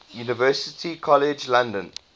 university college london